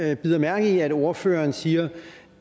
jeg bider mærke i at ordføreren siger